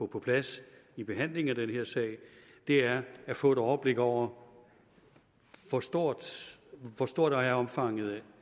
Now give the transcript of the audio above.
på plads i behandlingen af den her sag det er at få et overblik over hvor stort hvor stort omfanget